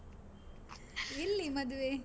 ಎಲ್ಲಿ ಮದುವೆ?